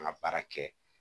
An ka baara kɛ